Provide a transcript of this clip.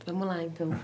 Vamos lá, então.